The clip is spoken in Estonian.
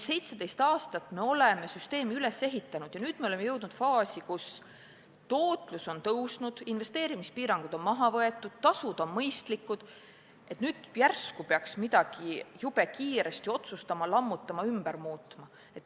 17 aastat oleme süsteemi üles ehitanud ja jõudnud faasi, kus tootlus on kasvanud, investeerimispiirangud on maha võetud ja tasud on mõistlikud, aga nüüd järsku leiame, et peaks midagi jube kiiresti otsustama, lammutama, muutma.